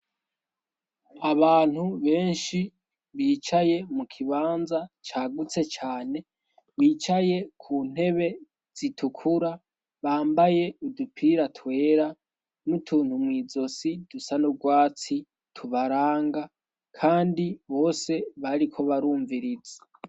Abantu benshi bicaye mu kibanza cagutse cane bicaye ku ntebe zitukura bambaye udupira twera n'utuntu mw'izosi dusa n'urwatsi tubaranga kandi bose bariko barumviriza.